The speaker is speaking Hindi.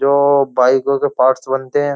जो बाइकों के पार्ट्स बनते हैं।